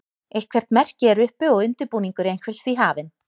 eitthvert merki er uppi og undirbúningur einhvers því hafinn